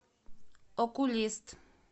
окулист